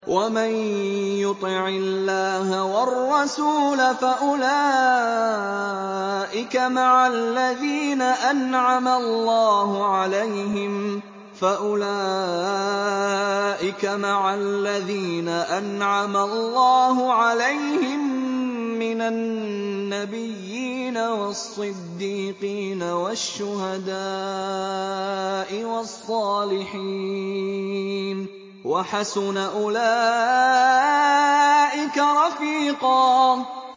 وَمَن يُطِعِ اللَّهَ وَالرَّسُولَ فَأُولَٰئِكَ مَعَ الَّذِينَ أَنْعَمَ اللَّهُ عَلَيْهِم مِّنَ النَّبِيِّينَ وَالصِّدِّيقِينَ وَالشُّهَدَاءِ وَالصَّالِحِينَ ۚ وَحَسُنَ أُولَٰئِكَ رَفِيقًا